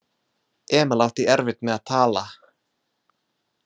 Emil átti erfitt með að tala.